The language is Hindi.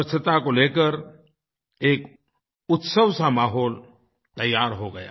स्वच्छता को लेकर एक उत्सवसा माहौल तैयार हो गया